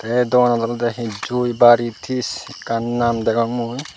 tay doganot olodey hee jui baritis ekkan naam degong mui.